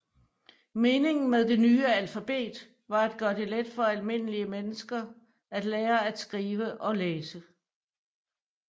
Meningen med det nye alfabet var at gøre det let for almindelige mennesker at lære at læse og skrive